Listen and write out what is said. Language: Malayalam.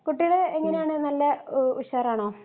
കുട്ടികൾ എങ്ങനെ നല്ല ഉശാറാണോ